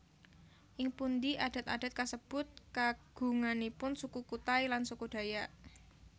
Ing pundi adat adat kasebut kagunganipun Suku Kutai lan Suku Dayak